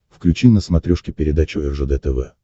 включи на смотрешке передачу ржд тв